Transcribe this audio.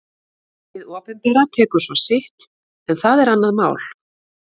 Hið opinbera tekur svo sitt en það er annað mál.